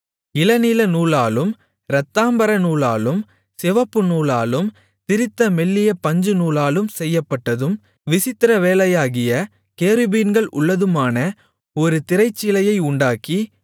இளநீலநூலாலும் இரத்தாம்பரநூலாலும் சிவப்புநூலாலும் திரித்த மெல்லிய பஞ்சுநூலாலும் செய்யப்பட்டதும் விசித்திரவேலையாகிய கேருபீன்கள் உள்ளதுமான ஒரு திரைச்சீலையை உண்டாக்கி